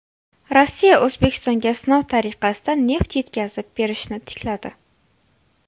Rossiya O‘zbekistonga sinov tariqasida neft yetkazib berishni tikladi.